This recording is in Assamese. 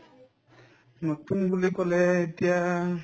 নতুন বুলি কলে এতিয়া